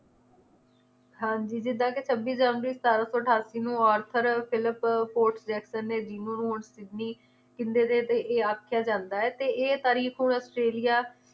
ਹਾਂਜੀ ਜਿਦਾਂ ਕਿ ਛੱਬੀ ਜਨਵਰੀ ਸਤਾਰਾਂ ਸੌ ਅਠਾਸੀ ਨੂੰ ਔਰਥਰ ਫਿਲਪ ਡਿਸਨੀ ਨੇ ਇਹ ਆਖਿਆ ਜਾਂਦਾ ਹੈ ਤੇ ਇਹ ਤਾਰੀਫ ਹੁਣ ਆਸਟ੍ਰੇਲੀਆ